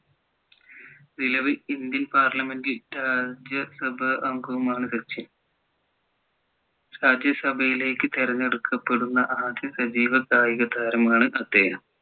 നിലവിൽ Indian parliament സഭാ അംഗവുമാണ് സച്ചിൻ രാജ്യ സഭയിലേക്കു തിരഞ്ഞെടുക്കപ്പെടുന്ന ആദ്യ സജീവ കായിക താരമാണ് അദ്ദേഹം